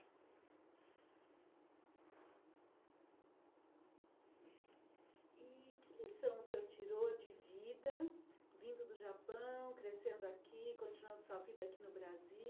E que lição o senhor tirou de vida, vindo do Japão, crescendo aqui, continuando sua vida aqui no Brasil?